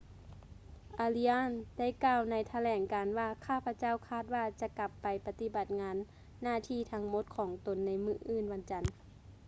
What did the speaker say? ອາຣີອາສ໌ arias ໄດ້ກ່າວໃນຖະແຫຼງການວ່າ ຂ້າພະເຈົ້າຄາດວ່າຈະກັບໄປປະຕິບັດໜ້າທີ່ທັງໝົດຂອງຕົນໃນມື້ວັນຈັນ